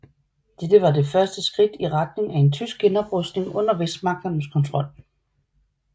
Dette var det første skridt i retning af en tysk genoprustning under Vestmagternes kontrol